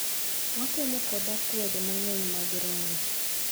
Watemo kod akwede mang'eny mag rangi,